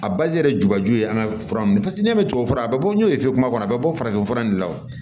A yɛrɛ jubaju ye an ka fura ninnu pase n'e bɛ tubabufura a bɛ bɔ n'o ye fefe kɔnɔ a bɛ bɔ farafin fura in de la o